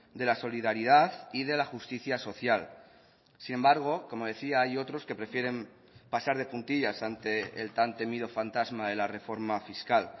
de la solidaridad y de la justicia social sin embargo como decía hay otros que prefieren pasar de puntillas ante el tan temido fantasma de la reforma fiscal